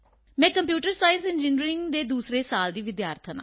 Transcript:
ਮੈਂ computer science engineering ਦੀ ਦੂਸਰੇ ਸਾਲ ਦੀ ਵਿਦਿਆਰਥਣ ਹਾਂ